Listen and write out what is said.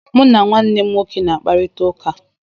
Mụ na nwanne m nwoke na-akparịta ụka.